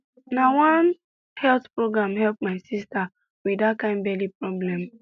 na one health program help my sister with that kind belly problem